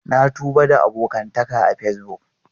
Na tuba da abokantaka a Facebook.